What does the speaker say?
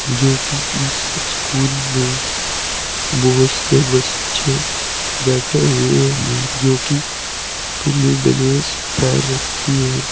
जो की इस स्कूल में बहोत से बच्चे बैठे हुए हैं जो की पीली ड्रेस पहे रखी है।